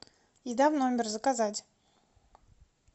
еда в номер заказать